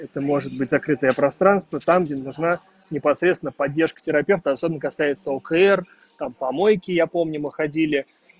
это может быть закрытое пространство там где нужна непосредственно поддержка терапевта особенно касается укр там помойки я помню мы ходили